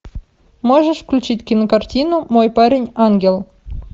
можешь включить кинокартину мой парень ангел